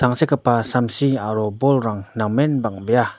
tangsekgipa samsi aro bolrang namen bang·bea.